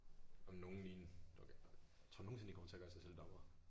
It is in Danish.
Om nogen ligne tror du nogensinde de kommer til at gøre sig selv dommere?